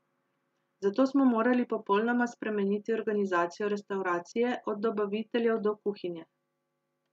Zato smo morali popolnoma spremeniti organizacijo restavracije, od dobaviteljev do kuhinje.